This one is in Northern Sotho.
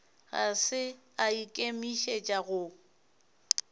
ga se a ikemišetša go